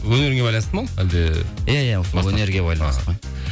өнеріңе байланысты ма ол әлде иә иә өнерге байланысты ғой